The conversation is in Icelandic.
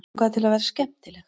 Langaði til að vera skemmtileg.